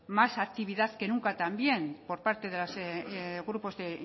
más actividad que nunca también por parte de los grupos de